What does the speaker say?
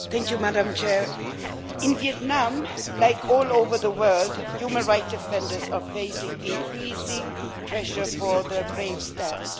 Madam President, in Vietnam, like all over the world, human rights defenders are facing increasing pressure for their brave stand.